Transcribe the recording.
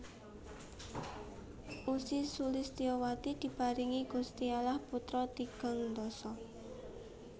Ussy Sulistyowati diparingi Gusti Allah putra tigang dasa